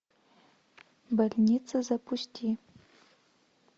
больница запусти